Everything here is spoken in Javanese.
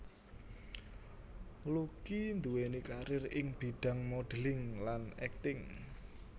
Lucky nduwèni karir ing bidhang modeling lan akting